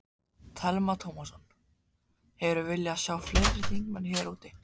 Telma Tómasson: Hefðirðu viljað sjá fleiri þingmenn hér úti?